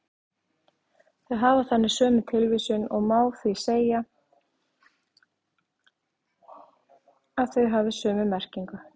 Þau hafa þannig sömu tilvísun og má því segja að þau hafi sömu merkingu.